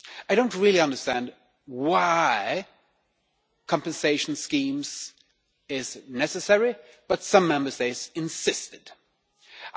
I do not really understand why compensation schemes are necessary but some Member States insisted on them.